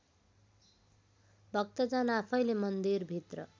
भक्तजन आफैँले मन्दिरभित्र